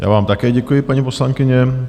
Já vám také děkuji, paní poslankyně.